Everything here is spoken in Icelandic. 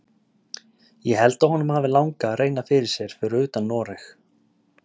Ég held að honum hafi langað að reyna fyrir sér fyrir utan Noreg.